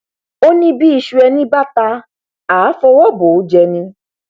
ó ní bí iṣu ẹni bá ta àá fọwọ bò ó jẹ ni